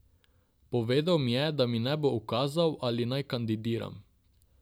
Povedal mi je, da mi ne bo ukazal ali naj kandidiram.